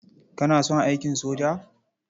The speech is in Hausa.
Kana son aikin soja?